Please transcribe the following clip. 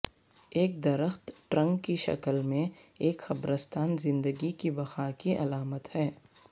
ایک درخت ٹرنک کی شکل میں ایک قبرستان زندگی کی بقا کی علامت ہے